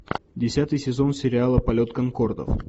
десятый сезон сериала полет конкордов